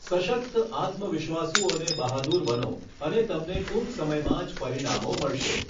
સશક્ત, આત્મવિશ્વાસુ અને બહાદૂર બનો અને તમને ટૂંક સમયમાં જ પરિણામો મળશે.